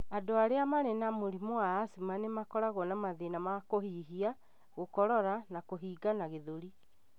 Andũ arĩa marĩ na mũrimũ wa asthma nĩ makoragwo na mathĩna ma kũhihia, gũkorora, na kũhingana gĩthũri.